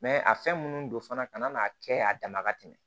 a fɛn minnu don fana kana n'a kɛ a dama ka tɛmɛ